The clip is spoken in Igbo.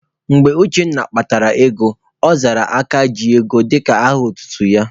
Mgbe Uchenna kpatara ego, ọ zara Aka ji ugo dịka aha otutu ya.